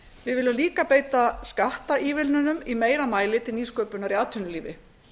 við viljum líka beita skattaívilnunum í meira mæli til nýsköpunar í atvinnulífi